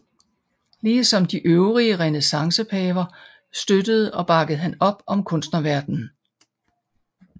Ligesom de øvrige renæssancepaver støttede og bakkede han op om kunstnerverdenen